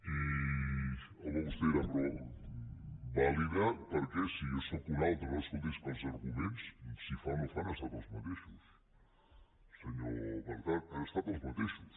i home vostè deurà dir vàlida per què si jo sóc un altre no escolti és que els arguments si fa no fa han estat els mateixos senyor bertran han estat els mateixos